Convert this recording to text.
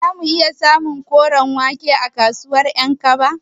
Zamu iya samun koren wake a kasuwar Ƴankaba?